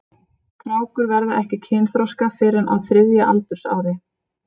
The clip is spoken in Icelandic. Krákur verða ekki kynþroska fyrr en á þriðja aldursári.